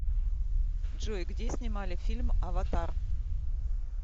джой где снимали фильм аватар